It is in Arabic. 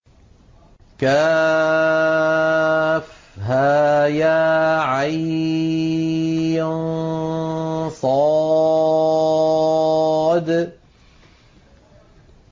كهيعص